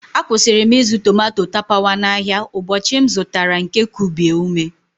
Akwụsịrị m ịzụ tomato tapawa n'ahịa ụbọchị m zụtara nke kubie ume.